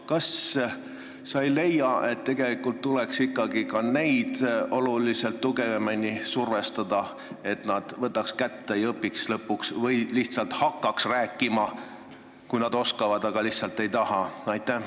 Kas sa ei leia, et tegelikult tuleks ikkagi ka neid tugevamini survestada, et nad võtaks kätte ja õpiks lõpuks keele ära või hakkaks rääkima, kui nad oskavad, aga lihtsalt ei taha?